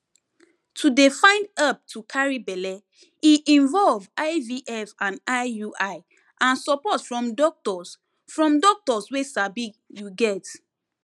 to dey find help to carry belle e involve ivf and iui and support from doctors from doctors wey sabi you get